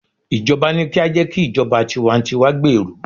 ijoba ni ki a je ki ijoba tiwantiwa gberu